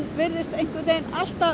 er alltaf